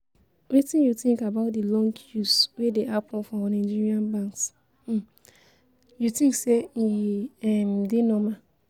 Wetin you think about di long queues wey dey happen for Nigerian banks, um you think say e um dey normal?